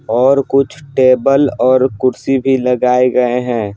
और कुछ टेबल और कुर्सी भी लगाए गए हैं।